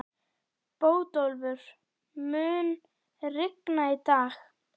Bótólfur, mun rigna í dag?